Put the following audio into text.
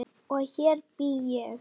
Og hér bý ég!